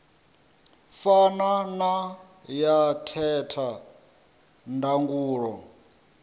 fana na ya theta ndangulo